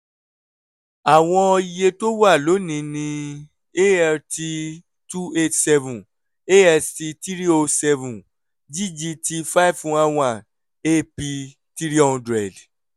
àwọn iye tó wà lónìí ni alt two eight seven ast three o seven ggt five one one ap three hundred